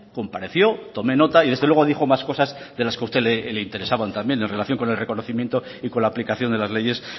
compareció tomé nota y desde luego dijo más cosas de las que usted le interesaban también en relación con el reconocimiento y con la aplicación de las leyes